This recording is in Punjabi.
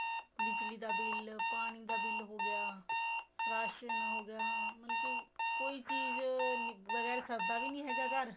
ਬਿੱਜਲੀ ਦਾ bill ਪਾਣੀ ਦਾ bill ਹੋ ਗਿਆ ਰਾਸ਼ਨ ਹੋ ਗਿਆ ਮਤਲਬ ਕੀ ਕੋਈ ਚੀਜ਼ ਵਗੈਰਾ ਸਰਦਾ ਵੀ ਨਹੀਂ ਹੈਗਾ ਘਰ